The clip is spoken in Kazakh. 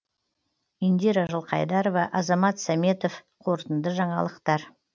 индира жылқайдарова азамат сәметов қорытынды жаңалықтар